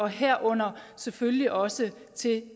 herunder selvfølgelig også til